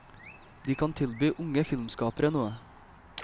De kan tilby unge filmskapere noe.